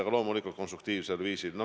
Aga loomulikult konstruktiivsel viisil.